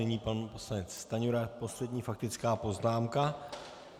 Nyní pan poslanec Stanjura, poslední faktická poznámka.